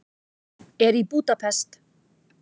Er í Búdapest.